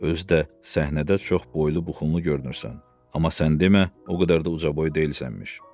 Özü də səhnədə çox boylu-buxunlu görünürsən, amma sən demə o qədər də ucaboy deyilsənmiş.